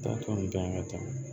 Taa tɔ nunnu dan ye ka taa